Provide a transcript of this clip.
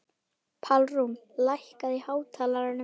Pálrún, lækkaðu í hátalaranum.